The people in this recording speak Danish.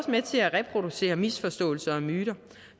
med til at reproducere misforståelser og myter